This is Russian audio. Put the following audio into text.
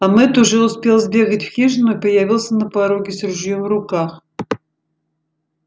а мэтт уже успел сбегать в хижину и появился на пороге с ружьём в руках